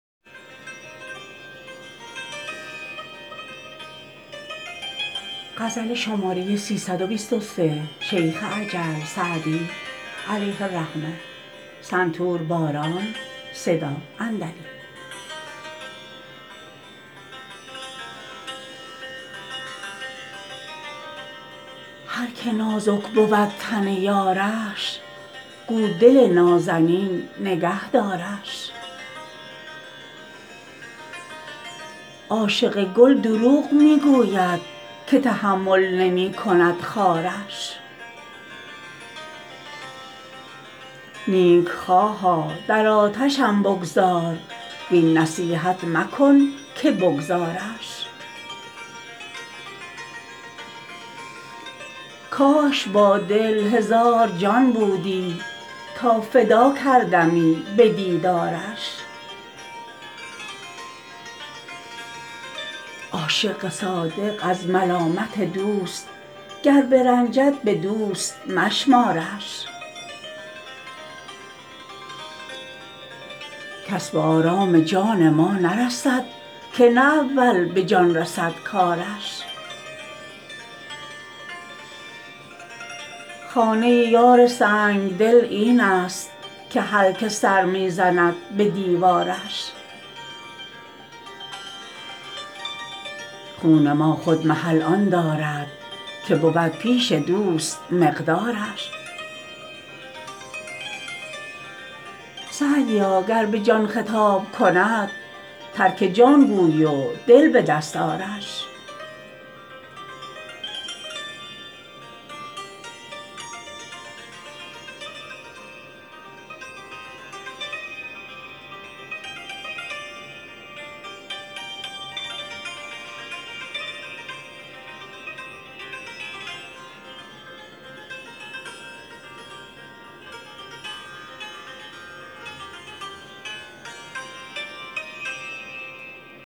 هر که نازک بود تن یارش گو دل نازنین نگه دارش عاشق گل دروغ می گوید که تحمل نمی کند خارش نیکخواها در آتشم بگذار وین نصیحت مکن که بگذارش کاش با دل هزار جان بودی تا فدا کردمی به دیدارش عاشق صادق از ملامت دوست گر برنجد به دوست مشمارش کس به آرام جان ما نرسد که نه اول به جان رسد کارش خانه یار سنگدل این است هر که سر می زند به دیوارش خون ما خود محل آن دارد که بود پیش دوست مقدارش سعدیا گر به جان خطاب کند ترک جان گوی و دل به دست آرش